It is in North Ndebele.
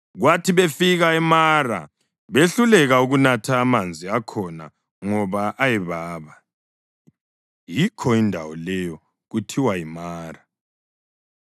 Kwathi befika eMara behluleka ukunatha amanzi akhona ngoba ayebaba. (Yikho indawo leyo kuthiwa yiMara.)